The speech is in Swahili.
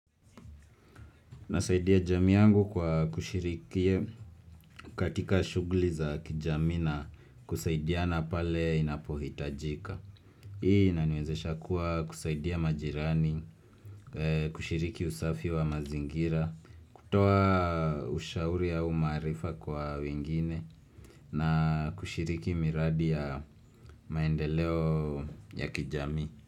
Nasaidia jami yangu kwa kushirikie katika shuguli za kijamii na kusaidiana pale inapohitajika. Hii inaniwezesha kuwa kusaidia majirani, kushiriki usafi wa mazingira, kutoa ushauri au maarifa kwa wengine na kushiriki miradi ya maendeleo ya kijami.